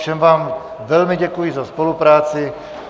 Všem vám velmi děkuji za spolupráci.